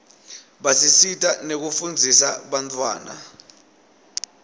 basisita nekufundzisa bantfwana